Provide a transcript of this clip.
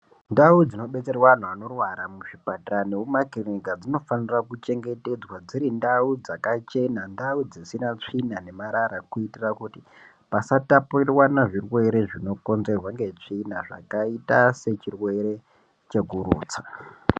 Ndau dzinobetserwa andu anorwara muzvipatara nekumakiriniki dzinofanira kuchengetedzwa dziri ndau dzakachena ndau dzisina tsvina nemarara kuitira kuti pasatapurirwana zvirwere zvinokonzerwa netsvina zvakaita sechirwere chekurutsa.